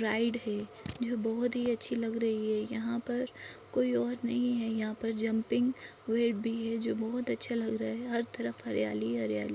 ride है जो बहुत ही अच्छी लग रही है यहाँ पर कोई और नही है यहाँ पर जम्पिंग वेट भी है जो बहुत अच्छा लग रहा है हर तरफ हरियाली-हरियाली--